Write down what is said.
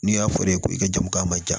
N'i y'a fɔ ne ye ko i ka jamu k'a ma ja